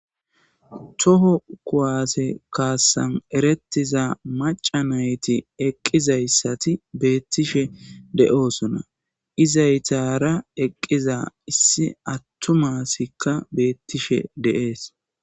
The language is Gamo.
toho kuwaase kaassan eretiza macanayti eqqizayssati beettishe de7oosona izaytara eqqiza issi attumasikka beettishe de7ees